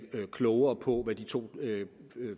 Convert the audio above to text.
klogere på hvad de to